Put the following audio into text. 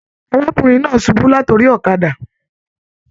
Arákùnrin náà subú lat'ori ọ̀kàdà.